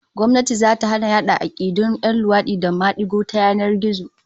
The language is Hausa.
Gwamnati zata hana yada 'akidun 'yan luwadi da madigo ta yanar gizo